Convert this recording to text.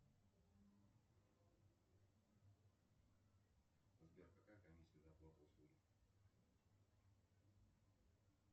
сбер какая комиссия за оплату услуги